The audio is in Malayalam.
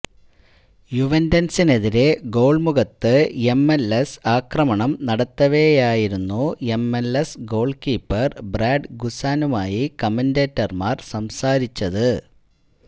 യുവന്റ്സിനെതിരെ ഗോള് മുഖത്ത് എംഎല്എസ് ആക്രമണം നടത്തവെയായിരുന്നു എംഎല്എസ് ഗോള് കീപ്പര് ബ്രാഡ് ഗുസാനുമായി കമന്റേറ്റര്മാര് സംസാരിച്ചത്